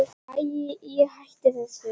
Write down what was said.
Ég hætti þessu.